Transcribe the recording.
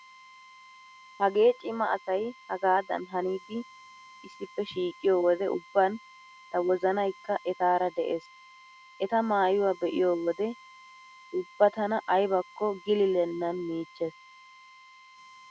Hagee cima asay hagaadan hanidi issippe shiiqiyo wode ubban ta wozanaykka etaara de'ees. Eta maayuwa be'iyo wode ubba tana aybakko gililennan miichchees.